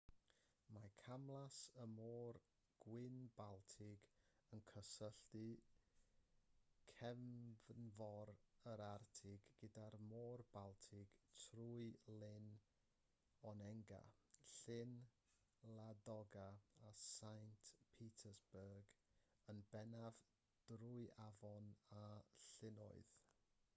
mae camlas y môr gwyn-baltig yn cysylltu cefnfor yr arctig gyda'r môr baltig trwy lyn onega llyn ladoga a saint petersburg yn bennaf drwy afonydd a llynnoedd